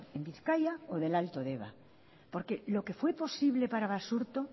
en bizkaia o de el alto deba porque lo que fue posible para basurto